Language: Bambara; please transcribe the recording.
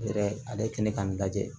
Yɛrɛ ale ye kɛnɛ k'a lajɛ